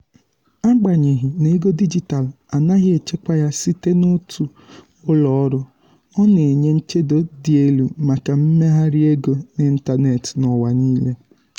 agbanyeghi na ego dijitalụ anaghị achịkwa ya site n'otu ụlọọrụ ọ na-enye nchedo dị elu maka mmegharị ego n'ịntanetị n'ụwa niile.